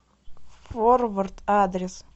форвард адрес